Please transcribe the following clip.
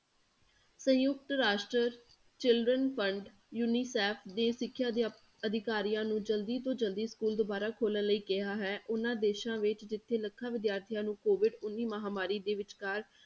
ਸੰਯੁਕਤ ਰਾਸ਼ਟਰ children fund unicef ਦੇ ਸਿੱਖਿਆ ਅਧਿਆ~ ਅਧਿਕਾਰੀਆਂ ਨੂੰ ਜ਼ਲਦੀ ਤੋਂ ਜ਼ਲਦੀ school ਦੁਬਾਰਾ ਖੋਲਣ ਲਈ ਕਿਹਾ ਹੈ, ਉਹਨਾਂ ਦੇਸਾਂ ਵਿੱਚ ਜਿੱਥੇ ਲੱਖਾਂ ਵਿਦਿਆਰਥੀਆਂ ਨੂੰ COVID ਉੱਨੀ ਮਹਾਂਮਾਰੀ ਦੇ ਵਿਚਕਾਰ